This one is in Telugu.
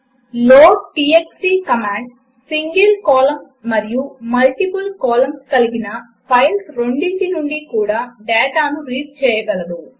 లోడ్టీఎక్స్టీ కామాండ్ సింగిల్ కాలమ్స్ మరియు మల్టిపుల్ కాలమ్స్ కలిగిన ఫైల్స్ రెండిటి నుండి కూడా డాటాను రీడ్ చేయగలదు 2